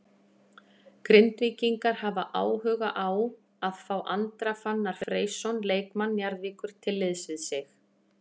Grindvíkingar hafa áhuga á að fá Andra Fannar Freysson leikmann Njarðvíkur til liðs við sig.